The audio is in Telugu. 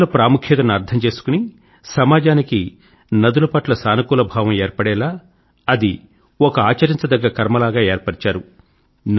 నదుల ప్రాముఖ్యతను అర్థం చేసుకుని సమాజానికి నదుల పట్ల సానుకూల భావం ఏర్పడేలా అది ఒక ఆచరించదగ్గ కర్మలాగ ఏర్పరిచారు